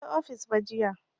Ban je ofis ba jiya